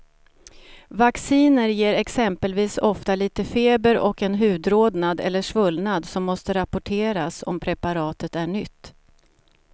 Vacciner ger exempelvis ofta lite feber och en hudrodnad eller svullnad som måste rapporteras om preparatet är nytt.